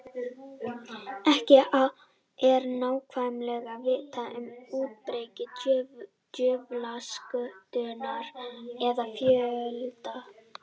Ekki er nákvæmlega vitað um útbreiðslu djöflaskötunnar eða fjölda.